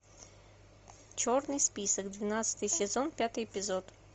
черный список двенадцатый сезон пятый эпизод